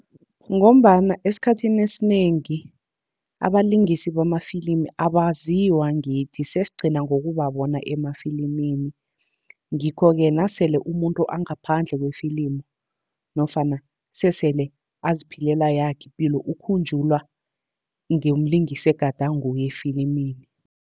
Ngombana esikhathini esinengi abalingisi bamafilimi abaziwa ngithi, sesigcina ngokubabona emafilimini. Ngikho-ke na sele umuntu angaphandle kwe-film, nofana sesele aziphilela yakhe ipilo ukhunjulwa ngeyomlingisi egade anguye efilimini.